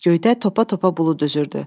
Göydə topa-topa bulud üzürdü.